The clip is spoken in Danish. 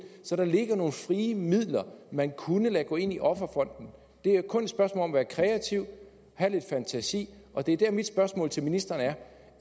så der ligger nogle frie midler man kunne lade gå ind i offerfonden det er kun et spørgsmål om at være kreativ og have lidt fantasi og det er dér mit spørgsmål til ministeren er